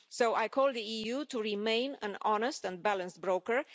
I call on the EU to remain an honest and balanced broker.